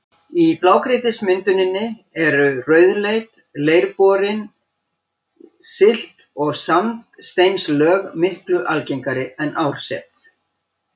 Í blágrýtismynduninni eru rauðleit, leirborin silt- og sandsteinslög miklu algengari en árset.